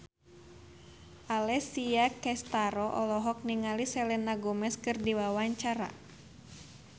Alessia Cestaro olohok ningali Selena Gomez keur diwawancara